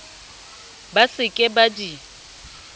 ba se ke ba di